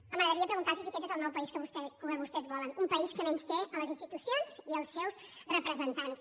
m’agradaria preguntar los si aquest és el nou país que vostès volen un país que menysté les institucions i els seus representants